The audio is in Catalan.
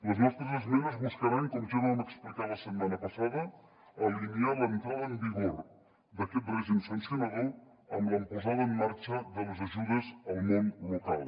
les nostres esmenes buscaran com ja vam explicar la setmana passada alinear l’entrada en vigor d’aquest règim sancionador amb la posada en marxa de les ajudes al món local